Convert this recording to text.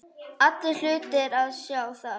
Allir hlutu að sjá það.